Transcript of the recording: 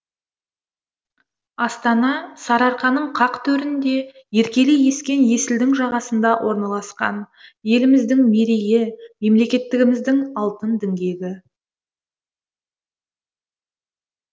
астана сарыарқаның қақ төрінде еркелей ескен есілдің жағасында орналасқан еліміздің мерейі мемлекеттігіміздің алтын діңгегі